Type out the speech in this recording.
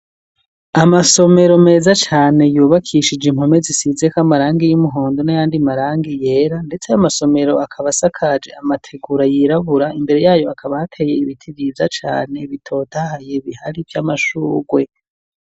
Amasomero meza cane yubakishije impome zisizeko amarangi y'umuhondo n'ayandi marangi yera, ndetse ayo masomero akaba asakaje amategura yirabura, imbere yayo hakaba hateye ibiti vyiza cane bitotahaye, bihari vy'amashugwe.